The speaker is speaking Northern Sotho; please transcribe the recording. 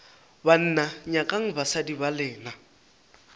banna nyakang basadi ba lena